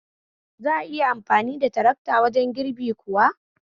Za'a iya amfani da tarakta wajen girbi kuwa?